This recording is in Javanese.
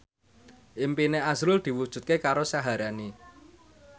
impine azrul diwujudke karo Syaharani